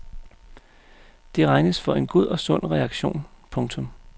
Det regnes for en god og sund reaktion. punktum